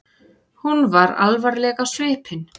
Hún var alvarleg á svipinn.